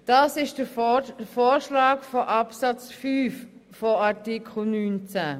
Das ist der Vorschlag von Artikel 19 Absatz 5.